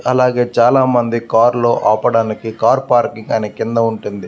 అలాగే చాలా మంది కార్ లో ఆపడానికి కార్ పార్కింగ్ అని కింద ఉంటుంది.